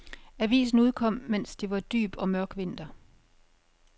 Avisen udkom, mens det var dyb og mørk vinter.